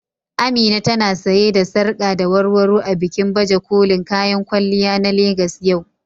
Amina ta na sanye da sarƙa da warwaro a bikin baje kolin kayan kwalliya na Legas yau.